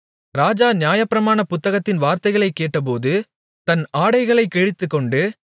ராஜா நியாயப்பிரமாண புத்தகத்தின் வார்த்தைகளைக் கேட்டபோது தன் ஆடைகளைக் கிழித்துக்கொண்டு